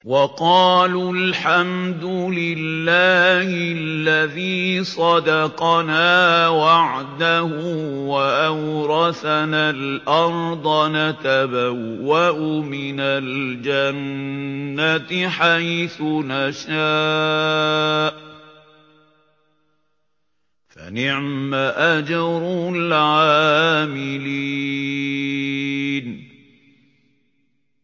وَقَالُوا الْحَمْدُ لِلَّهِ الَّذِي صَدَقَنَا وَعْدَهُ وَأَوْرَثَنَا الْأَرْضَ نَتَبَوَّأُ مِنَ الْجَنَّةِ حَيْثُ نَشَاءُ ۖ فَنِعْمَ أَجْرُ الْعَامِلِينَ